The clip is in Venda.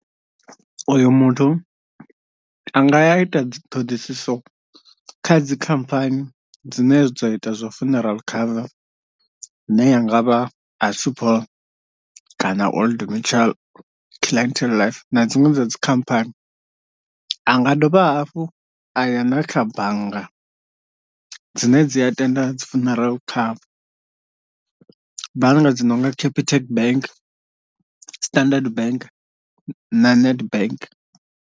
Uyo muthu anga ya a ita dzi ṱhoḓisiso kha dzikhamphani dzine dza ita zwa funeral cover ine ya ngavha a assupol kana old mutual, clientele life na dziṅwe dza dzi khamphani, a nga dovha hafhu a ya na kha bannga dzine dzi a tenda dzi funeral cover bannga dzi nonga capitec bank, standard bank na nedbank.